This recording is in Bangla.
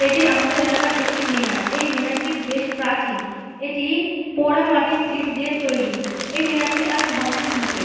এটি আমাদের এলাকার একটি মিনার এই মিনার টি বেশ প্রাচীন এটি পোড়া মাটির ইট দিয়ে তৈরি এই মিনারটি আজ ধ্বংসের মুখে।